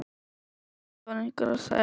BAUJA: Þetta var einhver að segja.